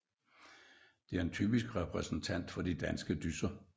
Det er en typisk repræsentant for de danske dysser